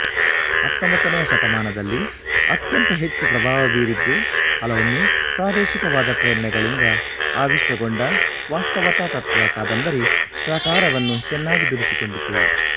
ಹತ್ತೊಂಬತ್ತನೆಯ ಶತಮಾನದಲ್ಲಿ ಅತ್ಯಂತ ಹೆಚ್ಚು ಪ್ರಭಾವ ಬೀರಿದ್ದೂ ಹಲವೊಮ್ಮೆ ಪ್ರಾದೇಶಿಕವಾದ ಪ್ರೇರಣೆಗಳಿಂದ ಆವಿಷ್ಟಗೊಂಡ ವಾಸ್ತವತಾತತ್ತ್ವ ಕಾದಂಬರಿ ಪ್ರಕಾರವನ್ನು ಚೆನ್ನಾಗಿ ದುಡಿಸಿಕೊಂಡಿತು